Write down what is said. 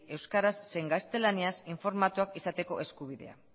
euskaraz zein gaztelaniaz informatuak izateko eskubideak